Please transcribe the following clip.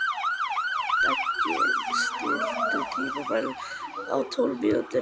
Beggi, stilltu tímamælinn á tólf mínútur.